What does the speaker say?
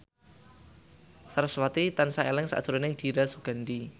sarasvati tansah eling sakjroning Dira Sugandi